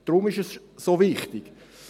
Deshalb ist es so wichtig.